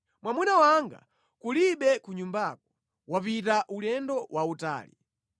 Mwamuna wanga kulibe ku nyumbako; wapita ulendo wautali: